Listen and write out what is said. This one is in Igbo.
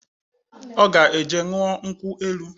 Ọ ga eje ṅụọ nkwụ elu